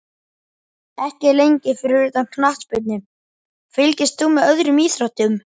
Ekki lengi Fyrir utan knattspyrnu, fylgist þú með öðrum íþróttum?